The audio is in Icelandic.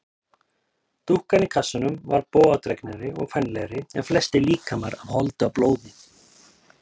Dúkkan í kassanum var bogadregnari og kvenlegri en flestir líkamar af holdi og blóði.